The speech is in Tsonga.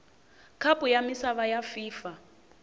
khapu ya misava ya fifa